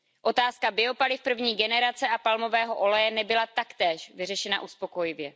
Otázka biopaliv první generace a palmového oleje nebyla taktéž vyřešena uspokojivě.